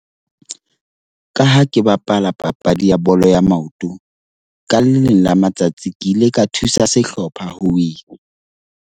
Ka ha ke bapala papadi ya bolo ya maoto, ka le leng la matsatsi ke ile ka thusa sehlopha ho win-a.